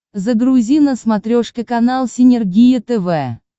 загрузи на смотрешке канал синергия тв